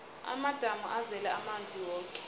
amadamu azele amanzi woke